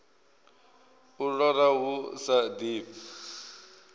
u lora hu sa ḓifhi